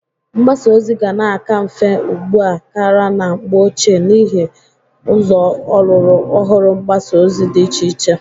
Mgbasa ozi ga na-aka mfe ugbu a kara na mgbe oche n'ihe ụzọ ọlụrụ ọhụrụ mgbasa ozi dị iche iche.